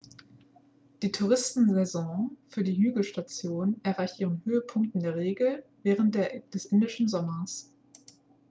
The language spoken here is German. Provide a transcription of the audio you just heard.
die touristensaison für die hügelstationen erreicht ihren höhepunkt in der regel während des indischen sommers